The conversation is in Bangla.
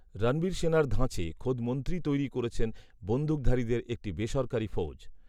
রণবীর সেনার ধাঁচে খোদ মন্ত্রীই তৈরি করছেন বন্দুকধারীদের একটি বেসরকারি ফৌজ